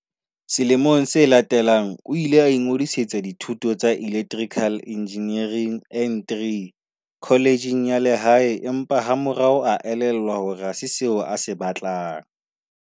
Selemong se latelang o ile a ingodisetsa dithuto tsa Electri cal Engineering N3 kholejeng ya lehae empa ha morao a elellwa hore ha se seo a se batlang.